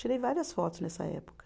Tirei várias fotos nessa época.